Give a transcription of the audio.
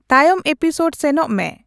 ᱛᱟᱭᱚᱢ ᱤᱯᱤᱥᱚᱰ ᱥᱮᱱᱚᱜ ᱢᱮ